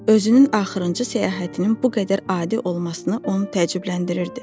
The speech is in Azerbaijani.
Özünün axırıncı səyahətinin bu qədər adi olmasına o təəccübləndirdi.